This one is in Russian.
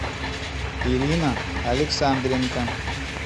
ирина александренко